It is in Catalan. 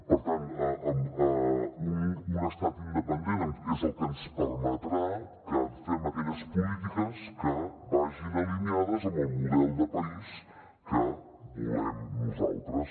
per tant un estat independent és el que ens permetrà que fem aquelles polítiques que vagin alineades amb el model de país que volem nosaltres